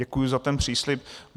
Děkuji za ten příslib.